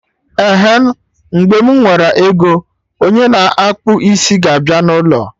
Ehen, mgbe mụ nwere ego, onye na akpụ isi ga abịa n'ụlọ